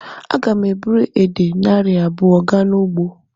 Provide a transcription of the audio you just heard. Aga m eburu edè narị abụọ gaa n'ugbo.